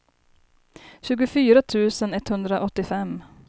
tjugofyra tusen etthundraåttiofem